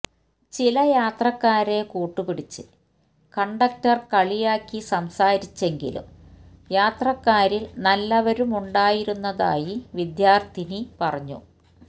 ചില യാത്രക്കാരെ കൂട്ടുപിടിച്ച് കണ്ടക്ടര് കളിയാക്കി സംസാരിച്ചെങ്കിലും യാത്രക്കാരില് നല്ലവരുമുണ്ടായിരുന്നതായി വിദ്യാര്ഥിനി പറഞ്ഞു